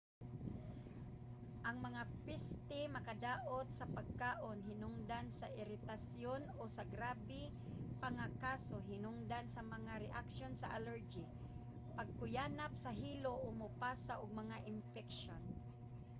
ang mga peste makadaot sa pagkaon hinungdan sa iritasyon o sa grabe pa nga kaso hinungdan sa mga reaksyon sa allergy pagkuyanap sa hilo o mopasa og mga impeksyon